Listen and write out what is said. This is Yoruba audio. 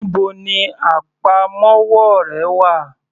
Níbo ni àpamọ́wọ́ rẹ wà?